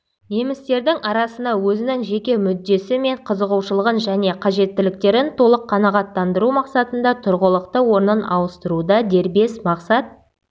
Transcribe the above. немістердің арасына өзінің жеке мүддесі мен қызығушылығын және қажеттіліктерін толық қанағаттандыру мақсатында тұрғылықты орнын ауыстыруда дербес мақсат